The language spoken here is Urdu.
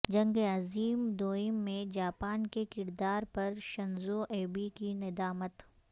جنگ عظیم دوئم میں جاپان کے کردار پر شنزو ایبے کی ندامت